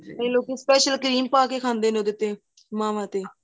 ਕਈ ਲੋਕੀ special cream ਪਾਕੇ ਖਾਂਦੇ ਨੇ ਉਹਦੇ ਤੇ ਮਾਵਾਂ ਤੇ